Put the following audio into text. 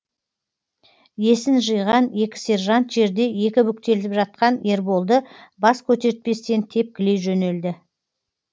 есін жиған екі сержант жерде екі бүктетіліп жатқан ерболды бас көтертпестен тепкілей жөнелді